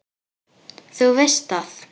Þú veist að.